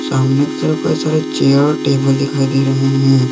सामने की तरफ कई सारे चेयर टेबल दिखाई दे रहे हैं।